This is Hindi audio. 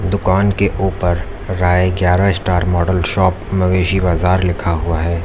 दुकान के ऊपर राय ग्यारह स्टार मॉडल शॉप मवेशी बाजार लिखा हुआ है।